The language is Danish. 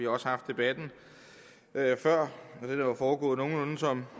også haft debatten før og foregået nogenlunde som